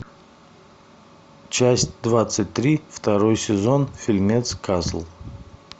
часть двадцать три второй сезон фильмец касл